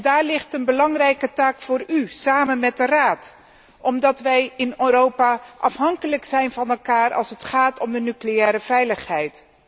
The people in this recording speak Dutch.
Daar ligt een belangrijke taak voor u, samen met de Raad, omdat wij in Europa afhankelijk van elkaar zijn als het gaat om de nucleaire veiligheid.